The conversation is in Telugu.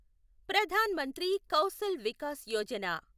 ప్రధాన్ మంత్రి కౌశల్ వికాస్ యోజన